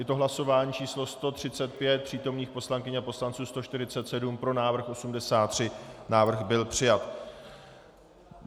Je to hlasování číslo 135, přítomných poslankyň a poslanců 147, pro návrh 83, návrh byl přijat.